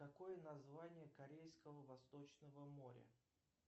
какое название корейского восточного моря